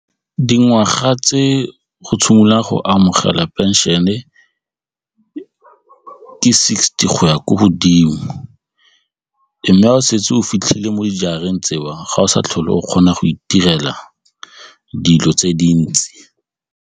Dingwaga tse go go amogela pension-e ke sixty go ya ko godimo mme ga o setse o fitlhile mo dijareng tseo ga o sa tlhole o kgona go itirela dilo tse dintsi.